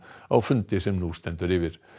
á fundi sem nú stendur yfir